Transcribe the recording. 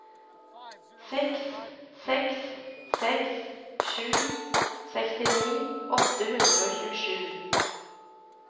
seks seks seks sju sekstini åtte hundre og tjuesju